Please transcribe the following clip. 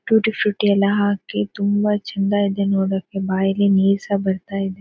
Tutti frutti ಎಲ್ಲ ಹಾಕಿ ತುಂಬ ಚಂದ ಇದೆ ನೋಡಕ್ಕೆ ಬಾಯಲ್ಲಿ ನೀರ್ಸಹ ಬರ್ತಾ ಇದೆ.